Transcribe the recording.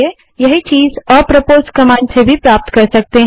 यही चीज़ apropos command का उपयोग कर भी प्राप्त कर सकते हैं